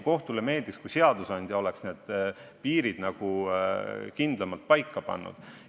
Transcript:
Kohtule meeldiks, kui seadusandja oleks piirid kindlamalt paika pannud.